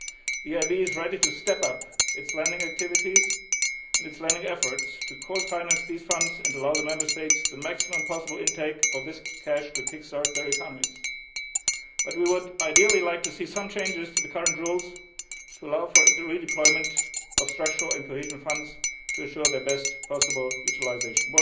funds. The EIB is ready to step up its lending activities and its lending efforts to co finance these funds and allow the Member States the maximum possible intake of this cash to kick start their economies, but we would ideally like to see some changes to the current rules to allow for the redeployment of structural and cohesion funds to ensure their best possible utilisation.